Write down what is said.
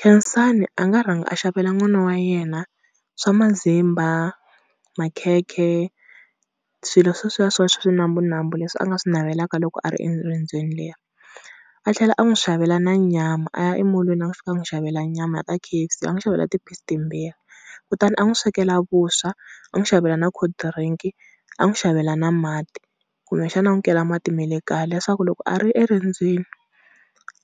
Khensani a nga rhanga a xavela n'wana wa yena swa mazimba, makhekhe swilo sweswiya swa swinambunambu leswi a nga swi navelaka loko a ri erendzweni leri. A tlhela a n'wi xavela na nyama a ya emolweni a fika a n'wi xavela nyama ka K_F_C, a n'wi xavela ti-piece timbirhi. Kutani a n'wi swekela vuswa a n'wi xavela na cold drink a n'wi xavela na mati, kumbexana a n'wi kela mati ma le kaya, leswaku loko a ri eriendzweni